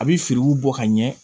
A bɛ feriw bɔ ka ɲɛ